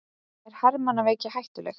Er hermannaveiki hættuleg?